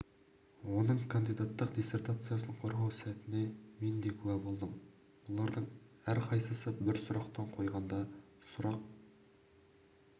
оның кандидаттық диссертациясын қорғау сәтіне мен де куә болдым бұлардың әр қайсысы бір сұрақтан қойғанда сұрақ